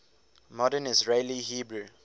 modern israeli hebrew